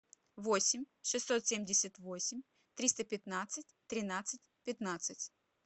восемь шестьсот семьдесят восемь триста пятнадцать тринадцать пятнадцать